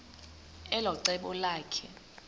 elo cebo lakhe